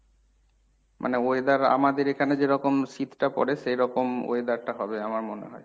মানে weather আমাদের এখানে যেরকম শীতটা পরে সেরকম weather টা হবে আমার মনে হয়।